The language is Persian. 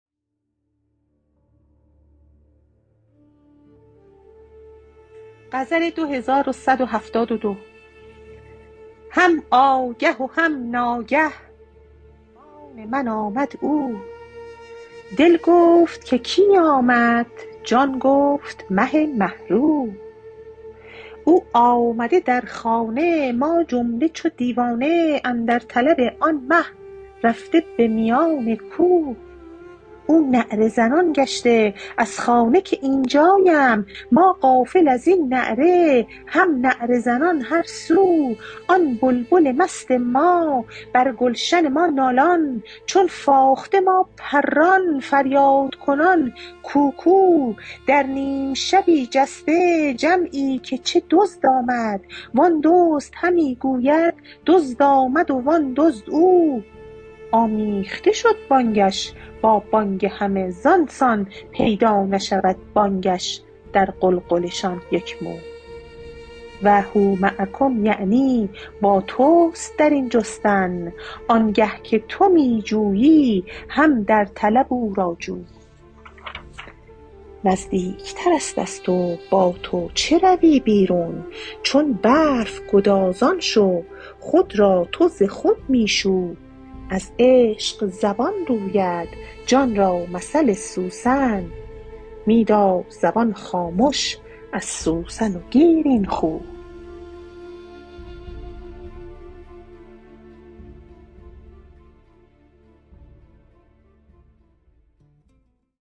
هم آگه و هم ناگه مهمان من آمد او دل گفت که کی آمد جان گفت مه مه رو او آمد در خانه ما جمله چو دیوانه اندر طلب آن مه رفته به میان کو او نعره زنان گشته از خانه که این جایم ما غافل از این نعره هم نعره زنان هر سو آن بلبل مست ما بر گلشن ما نالان چون فاخته ما پران فریادکنان کوکو در نیم شبی جسته جمعی که چه دزد آمد و آن دزد همی گوید دزد آمد و آن دزد او آمیخته شد بانگش با بانگ همه زان سان پیدا نشود بانگش در غلغله شان یک مو و هو معکم یعنی با توست در این جستن آنگه که تو می جویی هم در طلب او را جو نزدیکتر است از تو با تو چه روی بیرون چون برف گدازان شو خود را تو ز خود می شو از عشق زبان روید جان را مثل سوسن می دار زبان خامش از سوسن گیر این خو